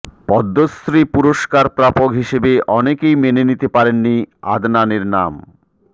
পদ্মশ্রী পুরস্কার প্রাপক হিসেবে অনেকেই মেনে নিতে পারেননি আদনানের নাম